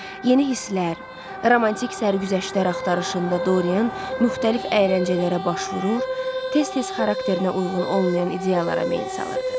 Yeni hisslər, romantik sərgüzəştlər axtarışında Dorian müxtəlif əyləncələrə baş vurur, tez-tez xarakterinə uyğun olmayan ideyalara meyl salırdı.